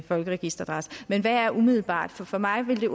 folkeregisteradresse men hvad er umiddelbart for for mig vil det